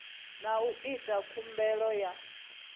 na u ita khumbelo ya